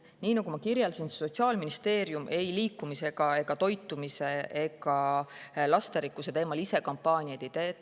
" Nii nagu ma kirjeldasin, Sotsiaalministeerium ise kampaaniad ei liikumise, toitumise ega lasterikkuse teemal ei tee.